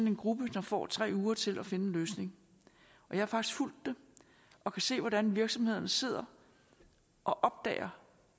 en gruppe der får tre uger til at finde en løsning jeg har faktisk fulgt det og kan se hvordan virksomhederne sidder og opdager